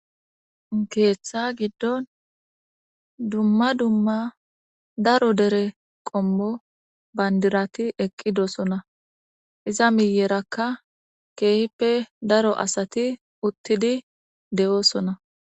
Keetha giddon daro daro qommo bandirati eqqidoosona.iza miyyerakka keehippe daro asati uttidi de7oosona.